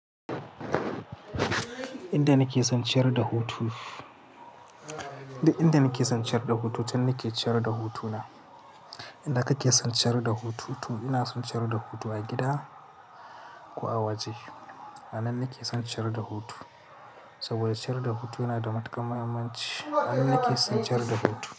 Inda nake son ciyar da hutu, duk inda nake son ciyar da hutu, can nake ciyar da hutu na. Inda kake son ciyar da hutu? Ina son ciyar da hutu a gida ko a waje. A nan nake son ciyar da hutu saboda ciyar da hutu yana da matukar muhimmanci. A nan nake son ciyar da hutu.